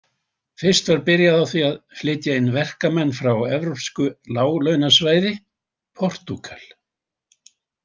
Fyrst var byrjað á því að flytja inn verkamenn frá evrópsku láglaunasvæði, Portúgal.